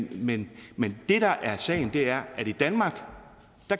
men men det der er sagen er at i danmark